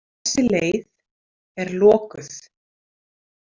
Þessi leið er lokuð.